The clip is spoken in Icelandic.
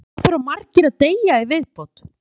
Hvað þurfa margir að deyja í viðbót?